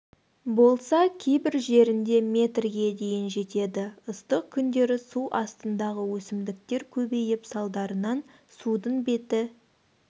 болса кейбір жерінде метрге дейін жетеді ыстық күндері су астындағы өсімдіктер көбейіп салдарынан судың беті